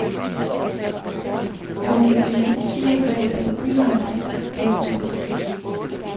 Jeg var med mine svigerforældre på byvandring. punktum